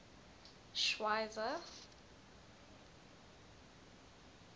schweizer